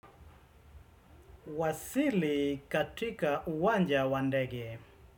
Wasili katika uwanja wandegi.